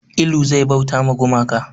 Ilu zai bauta ma gumaka